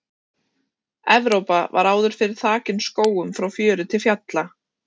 Evrópa var áður fyrr þakin skógum frá fjöru til fjalla.